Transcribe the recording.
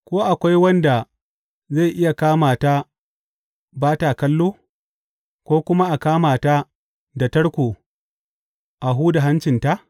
Ko akwai wanda zai iya kama ta ba ta kallo, ko kuma a kama ta da tarko a huda hancinta?